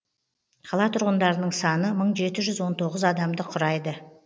қала тұрғындарының саны мың жеті жүз он тоғыз адамды құрайды